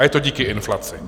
A je to díky inflaci.